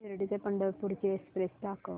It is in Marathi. शिर्डी ते पंढरपूर ची एक्स्प्रेस दाखव